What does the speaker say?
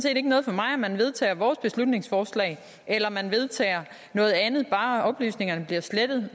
ikke noget for mig om man vedtager vores beslutningsforslag eller om man vedtager noget andet bare oplysningerne bliver slettet